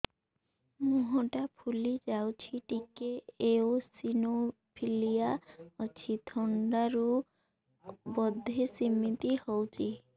ମୁହଁ ଟା ଫୁଲି ଯାଉଛି ଟିକେ ଏଓସିନୋଫିଲିଆ ଅଛି ଥଣ୍ଡା ରୁ ବଧେ ସିମିତି ହଉଚି